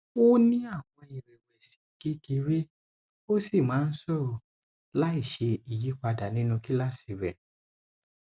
ó ní àwọn ìrẹwẹsì kékeré ó sì máa ń sọrọ láìṣe ìyípadà nínú kíláàsì rẹ